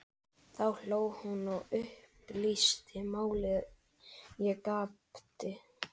Jöklarnir eru farnir að bráðna svo skarpt.